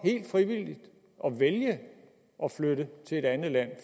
helt frivilligt at vælge at flytte til et andet land